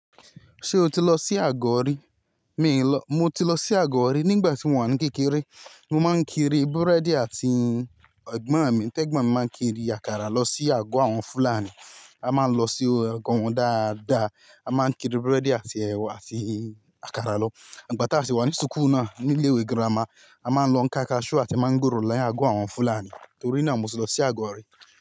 Ṣé o ti lọ sí agọ́ ọ̀rí? Mi n lọ, mo ti lọ sí agọ́ rí nígbà tí mo wà ní kékeré. Mo máa ń kiri búrẹ́dì àti ẹ̀gbọ́n mi, ẹ̀gbọ́n mi máa ń kiri àkàrà lọ sí agọ́ àwọn Fúlàní. A máa ń lọ sí ọ̀gọ́ wọn dáadáa, a máa ń kiri búrẹ́dì àti ẹwà àti àkàrà lọ. Ìgbà tá a sì wà ní sùkú náà ní ilé ìwé girama, a máa ń lọ ká kaṣú àti mángòrò láyé agọ́ àwọn Fúlàní. Nítorí náà mo ti lọ sí agọ́ ọ̀rí.